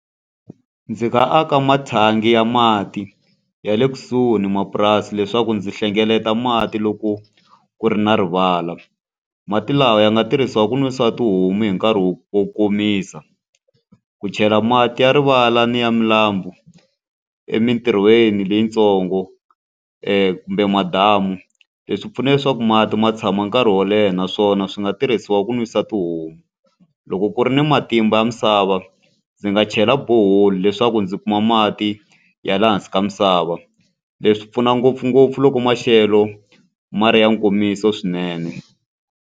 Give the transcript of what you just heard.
Ndzi nga aka mathangi ya mati ya le kusuhi ni mapurasi leswaku ndzi hlengeleta mati loko ku ri na rivala. Mati lawa ya nga tirhisiwa ku nwisa tihomu hi nkarhi wo wo komisa, ku chela mati ya rivala ni ya milambu emintirhweni leyitsongo kumbe madamu. Leswi pfuna leswaku mati ma tshama nkarhi wo leha naswona swi nga tirhisiwa ku nwisa tihomu. Loko ku ri ni matimba ya misava, ndzi nga chela borehole leswaku ndzi kuma mati ya laha hansi ka misava. Leswi pfuna ngopfungopfu loko maxelo ma ri ya nkomiso swinene.